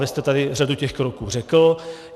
Vy jste tady řadu těch kroků řekl.